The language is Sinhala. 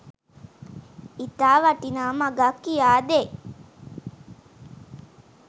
ඉතා වටිනා මගක් කියා දෙයි.